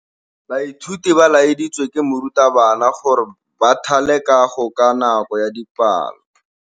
Baithuti ba laeditswe ke morutabana gore ba thale kagô ka nako ya dipalô.